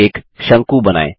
अब एक शंकु बनाएँ